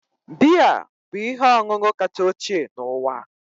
Biya bụ ihe ọṅụṅụ kacha ochie n'ụwa